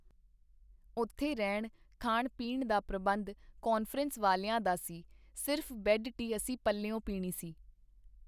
ਉੱਥੇ ਰਹਿਣ, ਖਾਣ-ਪੀਣ ਦਾ ਪ੍ਰਬੰਧ ਕਾਨਫਰੰਸ ਵਾਲਿਆਂ ਦਾ ਸੀ, ਸਿਰਫ਼ ਬੈੱਡ ਟੀ ਅਸੀਂ ਪੱਲਿਓਂ ਪੀਣੀ ਸੀ.